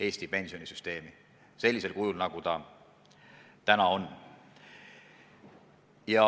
Eesti pensionisüsteemi sellisel kujul, nagu see on.